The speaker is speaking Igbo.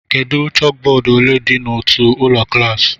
Kedu chókbódú ole dị n'otu ụlọ klas